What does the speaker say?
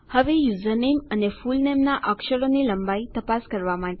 હવે યુઝરનેમ અને ફુલનેમ ના અક્ષરોની લંબાઈ તપાસ કરવા માટે